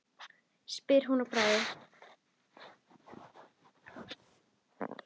spyr hún að bragði.